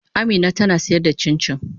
Amina tana sayar da cincin.